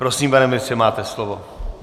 Prosím, pane ministře, máte slovo.